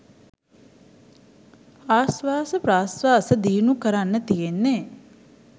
ආශ්වාස ප්‍රශ්වාස දියුණු කරන්න තියෙන්නෙ.